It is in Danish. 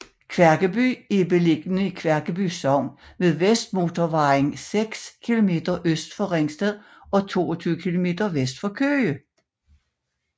Kværkeby er beliggende i Kværkeby Sogn ved Vestmotorvejen seks kilometer øst for Ringsted og 22 kilometer vest for Køge